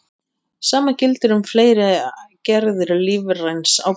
Sama gildir um fleiri gerðir lífræns áburðar.